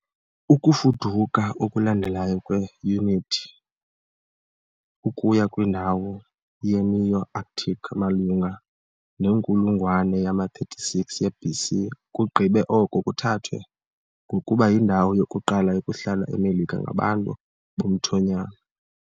Ukufuduka okulandelayo kwe- Inuit ukuya kwindawo ye-Neo-Arctic malunga nenkulungwane yama-36 ye-BC kugqibe oko kuthathwa ngokuba yindawo yokuqala yokuhlala eMelika ngabantu bomthonyama .